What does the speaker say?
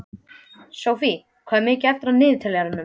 Sophie, hvað er mikið eftir af niðurteljaranum?